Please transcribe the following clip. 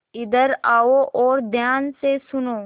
इधर आओ और ध्यान से सुनो